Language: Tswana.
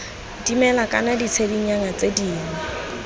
dimela kana ditshedinyana tse dingwe